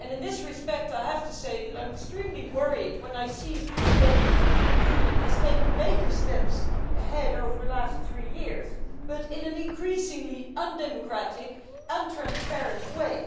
In this respect I have to say that I am extremely worried when I see that the European Union has taken major steps ahead over the last three years, but in an increasingly undemocratic, non transparent way